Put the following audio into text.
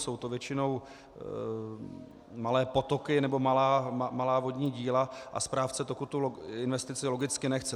Jsou to většinou malé potoky nebo malá vodní díla a správce toku tu investici logicky nechce.